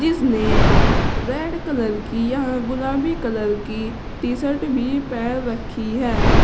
इसने red colour की या गुलाबी कलर की टी शर्ट भी पहन रखी हैं।